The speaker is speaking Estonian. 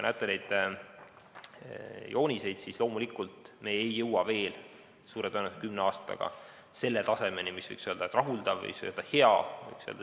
Nendelt joonistelt te näete, et loomulikult ei jõua me veel suure tõenäosusega kümne aastaga selle tasemeni, mille kohta võiks öelda, et see on rahuldav või hea.